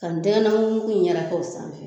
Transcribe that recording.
Ka ntɛgɛnɛ mugumugu in yɛrɛk'o sanfɛ